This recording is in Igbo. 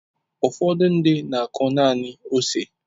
Ụfọdụ ndị mmadụ na-akụ naanị ose.